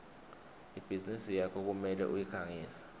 ibhizinisi yakho kumele uyikhangise